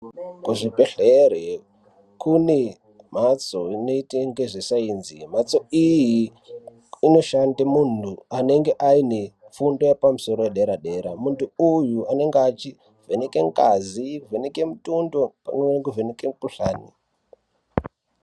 Kuzvibhedhleya kune mbatso inoite nezvesainzi, mhatso iyi inishanda muntu anenge aine fundo yepamusoro yedera dera muntu uyu unenge echivheneke ngazi, kuvheneke mutundo pamwe nekuvheneke mikuhlani.